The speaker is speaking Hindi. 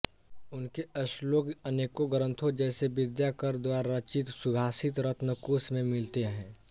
उनके श्लोक अनेकों ग्रन्थों जैसे विद्याकर द्वारा रचित सुभाषितरत्नकोश में मिलते हैं